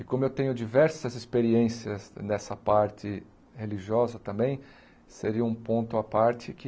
E como eu tenho diversas experiências nessa parte religiosa também, seria um ponto à parte que...